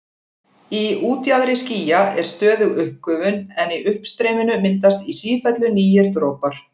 Í útjaðri skýja er stöðug uppgufun en í uppstreyminu myndast í sífellu nýir dropar.